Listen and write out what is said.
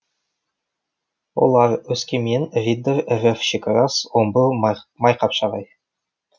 олар өскемен риддер рф шекарас омбы майқапшағай